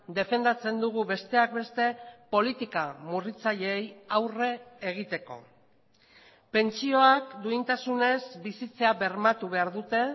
defendatzen dugu besteak beste politika murritzaileei aurre egiteko pentsioak duintasunez bizitzea bermatu behar dute